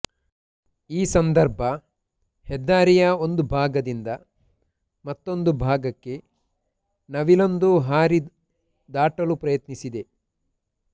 ಈ ಸಂದರ್ಭ ಹೆದ್ದಾರಿಯ ಒಂದು ಭಾಗದಿಂದ ಮತ್ತೊಂದು ಭಾಗಕ್ಕೆ ನವಿಲೊಂದು ಹಾರಿ ದಾಟಲು ಪ್ರಯತ್ನಿಸಿದೆ